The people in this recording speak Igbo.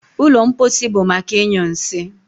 ụlọ mposi bụ maka ịnyụ nsị